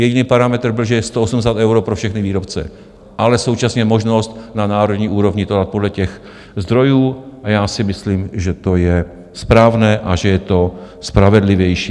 Jediný parametr byl, že je 180 eur pro všechny výrobce, ale současně možnost na národní úrovni to... a podle těch zdrojů, a já si myslím, že to je správné a že je to spravedlivější.